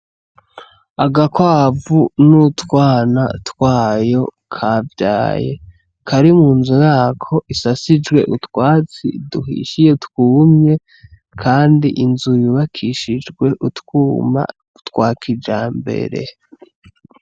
Agakwavu n'utwana twayo kavyaye kari mu nzu yako isasishijwe utwatsi duhishiye twumye kandi inzu y'ubakishijwe utwuma twa kijambere.